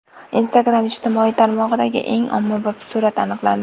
Instagram ijtimoiy tarmog‘idagi eng ommabop surat aniqlandi.